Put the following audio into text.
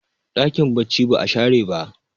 dakin bacci ba a share ba